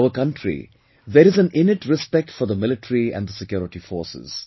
In our country there is an innate respect for the military and the security forces